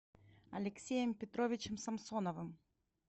алексеем петровичем самсоновым